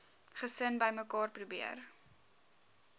gesin bymekaar probeer